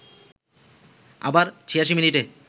আবার ৮৬ মিনিটে